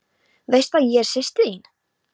Veistu að ég er systir þín.